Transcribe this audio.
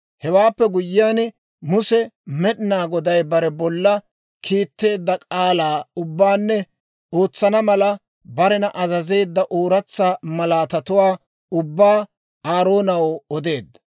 Hewaappe guyyiyaan Muse Med'inaa Goday bare bolla kiitteedda k'aalaa ubbaanne ootsana mala, barena azazeedda ooratsa malaatatuwaa ubbaa Aaroonaw odeedda.